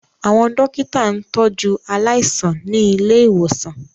Àwọn dókítà ń tọ jú aláìsàn ní ilé ìwòsàn